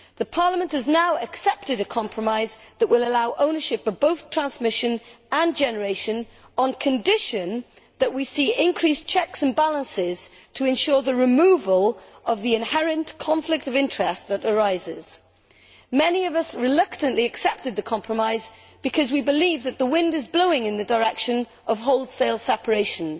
Parliament has now accepted a compromise that will allow ownership of both transmission and generation on condition that we see increased checks and balances to ensure the removal of the inherent conflict of interest that arises. Many of us reluctantly accepted the compromise because we believe that the wind is blowing in the direction of wholesale separations,